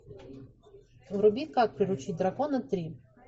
вруби как приручить дракона три